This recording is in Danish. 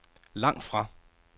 langtfra